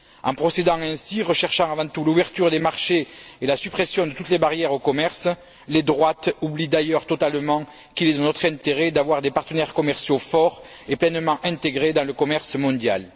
En procédant ainsi, en recherchant avant tout l'ouverture des marchés et la suppression de toutes les barrières au commerce, les droites oublient d'ailleurs totalement qu'il est de notre intérêt d'avoir des partenaires commerciaux forts et pleinement intégrés dans le commerce mondial.